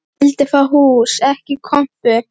Hann vildi fá hús, ekki kompu.